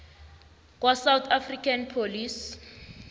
kwasouth african police